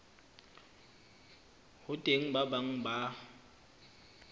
ho teng ba bang ba